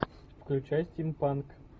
включай стимпанк